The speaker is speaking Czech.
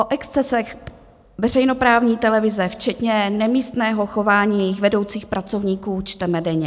O excesech veřejnoprávní televize včetně nemístného chování jejích vedoucích pracovníků čteme denně.